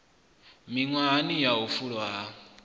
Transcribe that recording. miṅwahani ya u fulwa ha